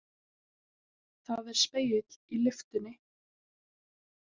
Það er spegill í lyftunni.